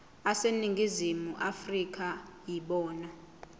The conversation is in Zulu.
aseningizimu afrika yibona